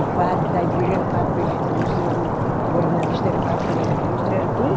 O padre da igreja era pago pela indústria, o organista era pago pela indústria. Era tudo